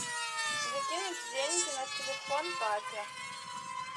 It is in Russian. закинуть деньги на телефон папе